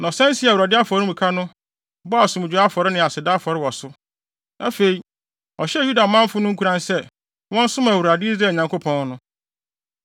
Na ɔsan sii Awurade afɔremuka no, bɔɔ asomdwoe afɔre ne aseda afɔre wɔ so. Afei, ɔhyɛɛ Yuda manfo no nkuran sɛ, wɔnsom Awurade, Israel Nyankopɔn no.